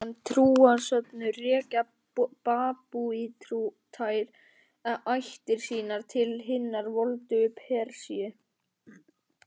Sem trúarsöfnuður rekja babúítar ættir sínar til hinnar voldugu Persíu.